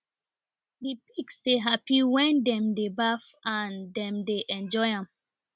the pigs dey happy wen dem dey baff and dem dey enjoy am